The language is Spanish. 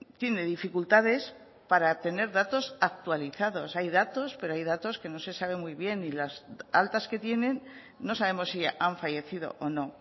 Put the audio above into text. tiene dificultades para tener datos actualizados hay datos pero hay datos que no se sabe muy bien y las altas que tienen no sabemos si han fallecido o no